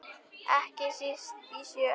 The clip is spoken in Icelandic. Ekki síst í sjö.